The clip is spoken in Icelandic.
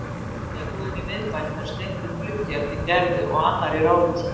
Í lyfjabúðinni í miðbænum er steindur gluggi eftir Gerði og annar í ráðhúsinu.